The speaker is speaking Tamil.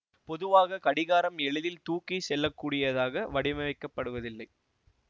பொதுவாக கடிகாரம் எளிதில் தூக்கி செல்லக்கூடியதாக வடிவமைக்கப்படுவதில்லை